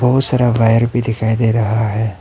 बहुत सारा वायर भी दिखाई दे रहा है।